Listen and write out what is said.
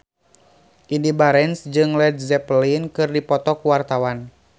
Indy Barens jeung Led Zeppelin keur dipoto ku wartawan